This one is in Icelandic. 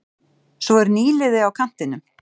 Svo er nýliði á kantinum.